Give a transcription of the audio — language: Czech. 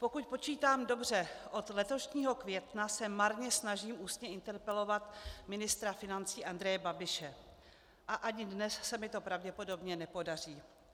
Pokud počítám dobře, od letošního května se marně snažím ústně interpelovat ministra financí Andreje Babiše a ani dnes se mi to pravděpodobně nepodaří.